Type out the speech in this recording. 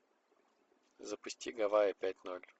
запусти гавайи пять ноль